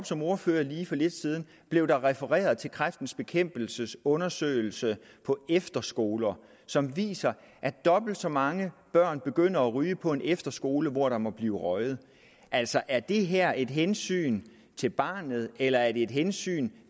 som ordfører lige for lidt siden blev der refereret til kræftens bekæmpelses undersøgelse på efterskoler som viser at dobbelt så mange børn begynder at ryge på en efterskole hvor der må blive røget altså er det her et hensyn til barnet eller er det et hensyn